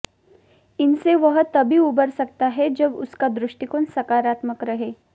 इनसे वह तभी उबर सकता है जब उसका दृष्टिकोण सकारात्मक रहे